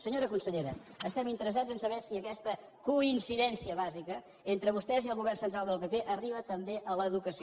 senyora consellera estem interessats a saber si aquesta coincidència bàsica entre vostès i el govern central del pp arriba també a l’educació